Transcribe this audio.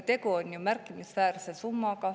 Tegu on ju märkimisväärse summaga.